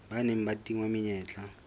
ba neng ba tingwa menyetla